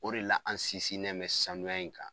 O de la an sinsinnen mɛ sanuya in kan